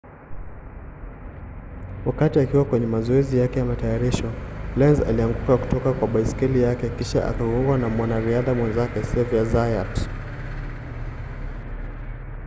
wakati akiwa kwenye mazoezi yake ya matayarisho lenz alianguka kutoka kwa baiskeli yake kisha akagongwa na mwanariadha mwenzake xavier zayat